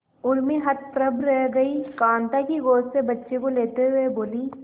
उर्मी हतप्रभ रह गई कांता की गोद से बच्चे को लेते हुए बोली